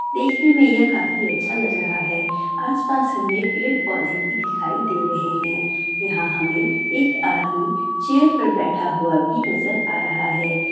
देखने में यह काफी अच्छा लग रहा है| आसपास में पेड़-पौधे भी दिखाई दे रहे हैं| यहां हमें एक आदमी चेयर पर बैठा हुआ भी नजर आ रहा है।